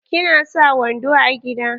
Ki na sa wando a gida?